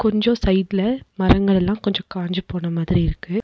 கொஞ்சோ சைடுல மரங்கள்லல்லா கொஞ்சோ காஞ்சு போன மாதிரி இருக்கு.